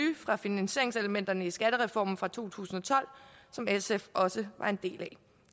fra finansieringselementerne i skattereformen fra to tusind og tolv som sf også var en del af